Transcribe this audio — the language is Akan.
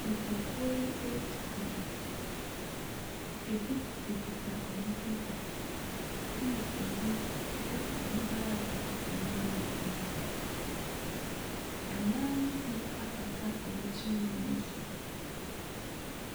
Nnipakuo yi retu kwan. Ebi kutakuta wɔn kɛtɛ, ɛnna ebi nso kita wɔn baage a nneɛma gum. Mmaa no bi akata wɔn tirinwi so.